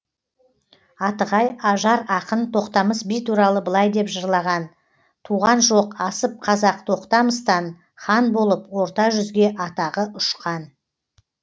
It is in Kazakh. атығай ажар ақын тоқтамыс би туралы былай деп жырлаған туған жоқ асып қазақ тоқтамыстан хан болып орта жүзге атағы ұшқан